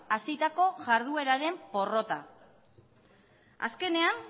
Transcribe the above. hasitako jardueraren porrota azkenean